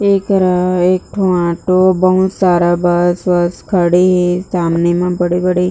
एकरा एक ठो ऑटो बहुत सारा बस वस खड़े हे सामने में बड़े-बड़े--